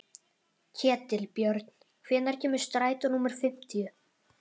Ketilbjörn, hvenær kemur strætó númer fimmtíu?